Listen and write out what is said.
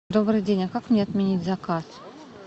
добрый день а как мне отменить заказ